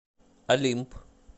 олимп